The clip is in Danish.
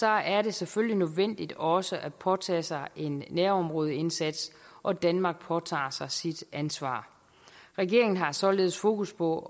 er det selvfølgelig nødvendigt også at påtage sig en nærområdeindsats og danmark påtager sig sit ansvar regeringen har således fokus på